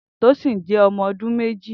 Tosin jẹ ọmọ ọdun mẹji